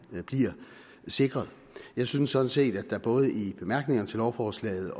bliver sikret jeg synes sådan set at der både i bemærkningerne til lovforslaget